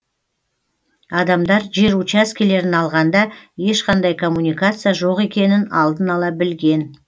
адамдар жер учаскелерін алғанда ешқандай коммуникация жоқ екенін алдын ала білген